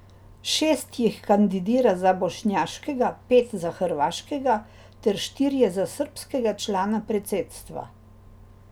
Šest jih kandidira za bošnjaškega, pet za hrvaškega ter štirje za srbskega člana predsedstva.